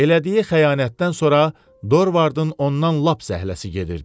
Elədiyi xəyanətdən sonra Dorvardın ondan lap zəhləsi gedirdi.